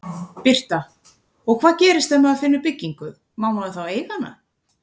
Birta: Og hvað gerist ef maður finnur byggingu, má maður þá eiga hana?